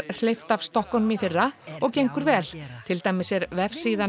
hleypt af stokkunum í fyrra og gengur vel til dæmis er vefsíðan